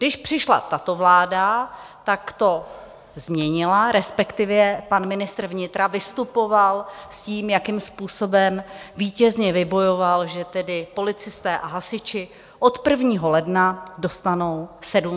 Když přišla tato vláda, tak to změnila, respektive pan ministr vnitra vystupoval s tím, jakým způsobem vítězně vybojoval, že tedy policisté a hasiči od 1. ledna dostanou 700 korun.